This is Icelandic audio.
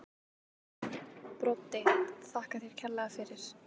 Broddi: Þakka þær kærlega fyrir.